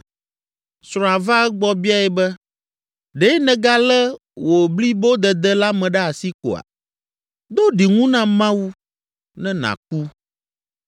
Srɔ̃a va egbɔ biae be, “Ɖe nègalé wò blibodede la me ɖe asi koa? Do ɖiŋu na Mawu ne nàku!”